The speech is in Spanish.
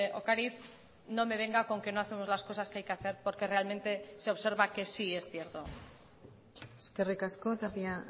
ocariz no me venga con que no hacemos las cosas que hay que hacer porque realmente se observa que sí es cierto eskerrik asko tapia